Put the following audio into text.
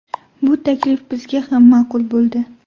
Bu taklif bizga ham ma’qul bo‘ldi.